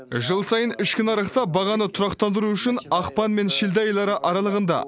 жыл сайын ішкі нарықта бағаны тұрақтандыру үшін ақпан мен шілде айлары аралығында